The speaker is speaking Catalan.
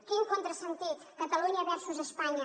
quin contrasentit catalunya versus espanya